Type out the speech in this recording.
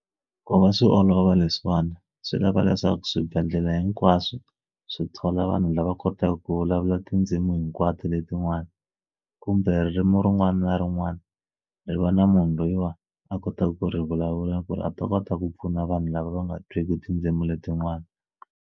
Ku va swi olova leswiwani swi lava leswaku swibedhlele hinkwaswo swi thola vanhu lava kotaka ku vulavula tindzimu hinkwato letin'wana kumbe ririmi rin'wana na rin'wana ri va na munhu loyiwani a kotaka ku ri vulavula ku ri a ta kota ku pfuna vanhu lava va nga twiki tindzimi letinwana.